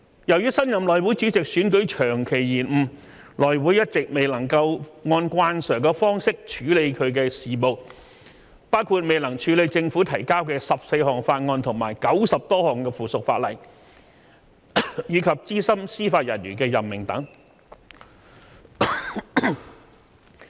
由於新任內會主席選舉長期延誤，內會一直未能按慣常方式處理其事務，包括未能處理政府提交的14項法案和90多項附屬法例，以及資深司法人員的任命等。